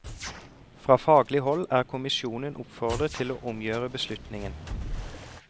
Fra faglig hold er kommisjonen oppfordret til å omgjøre beslutningen.